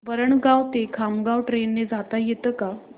वरणगाव ते खामगाव ट्रेन ने जाता येतं का